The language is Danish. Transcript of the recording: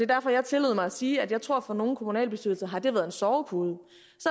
derfor jeg tillod mig at sige at jeg tror at for nogle kommunalbestyrelser har det været en sovepude